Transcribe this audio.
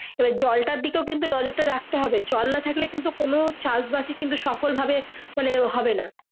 এরভি জলটার দিকে নজর টা রাখতে হবে জল না থাকলে কিন্তু কোনো চাষ বাস এ সফল ভাবে মানে হবে না।